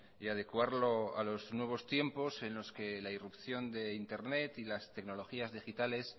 y adecuarlo a los nuevos tiempos en los que la irrupción de internet y las tecnologías digitales